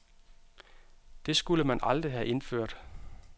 Det skulle man aldrig have indført.